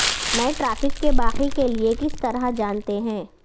میں ٹریفک کے باقی کے لئے کس طرح جانتے ہیں